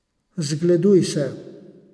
Zgleduj se.